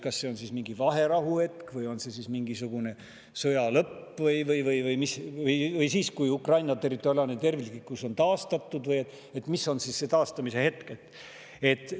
Kas see on siis mingi vaherahu hetk või on see sõja lõpp või siis, kui Ukraina territoriaalne terviklikkus on taastatud – mis on see taastamise hetk?